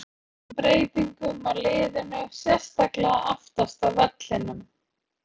En má kenna miklum breytingum á liðinu, sérstaklega aftast á vellinum?